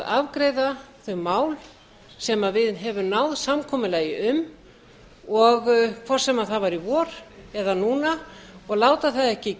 afgreiða þau mál sem við höfum náð samkomulagi um hvort sem það var í vor eða núna og láta það ekki